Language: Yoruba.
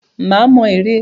Má mọ ère.